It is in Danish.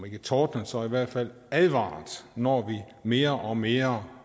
ikke tordnet så i hvert fald advaret når vi mere og mere